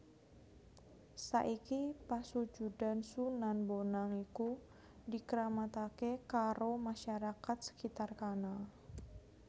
Saiki pasujudan Sunan Bonang iku dikramataké karo masyarakat skitar kana